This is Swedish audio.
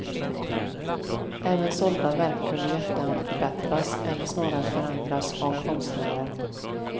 Även sålda verk kunde i efterhand förbättras, eller snarare förändras, av konstnären.